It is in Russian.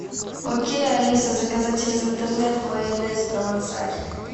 окей алиса заказать через интернет майонез провансаль